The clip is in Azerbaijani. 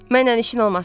Mənlə işin olmasın.